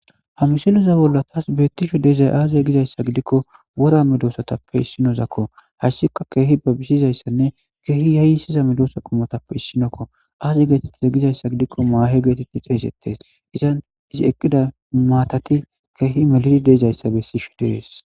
hamisiloza bolla taas beettisho deezay aazie gizayssa gidikko wora medoosatappe issinozakko hayssika keehi ba bisizayssanne keehi yayisiza medoosa qomotappe issinokko aazi geetettize gizayssa gidikko maahe geetetti xeesettes izan izi eqqida maatati keehi melidi deezayssa bessishe dees